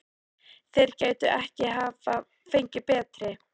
Þeir gætu ekki hafa fengið betri.